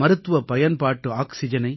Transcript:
மருத்துவப் பயன்பாட்டு ஆக்சிஜனை